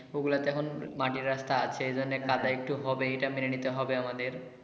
ওগলাতে এখনো মাটির রাস্তা আছে এই জন্যে কাদা একটু হবেই ইটা মেনে নিতে হবে আমাদের।